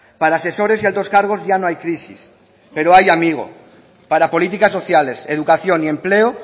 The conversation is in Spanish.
para asesores y altos cargos ya no hay crisis pero ay amigo para políticas sociales educación y empleo